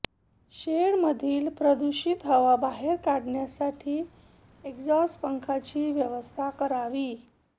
शेडमधील प्रदूषित हवा बाहेर काढण्यासाठी एक्झॉस्ट पंख्याची व्यवस्था करावी